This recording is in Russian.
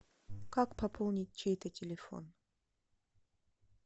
как пополнить чей то телефон